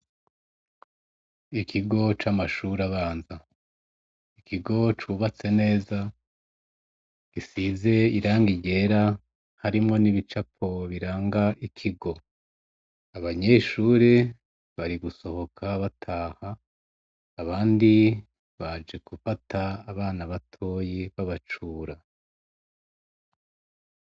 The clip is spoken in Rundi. Ikigo camashure abana ikigo cubatse neza gisize irangi ryera harimwo nibicapo biranga ikigo abanyeshure bari gusohoka bataha abandi baje gufata abana batoyi babacura